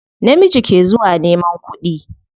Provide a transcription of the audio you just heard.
Namiji ke zuwa neman kuɗi.